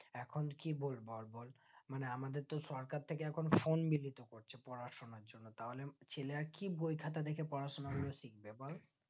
এখন কি বলবো এই বল মানে আমাদেরতো সরকার থেকে এখন Phone বিলিতি করছে পড়াশোনার জন্য তাহলে ছেলে আর কি বইখাতা দেখে পড়াশোনা গুলো শিখবে বল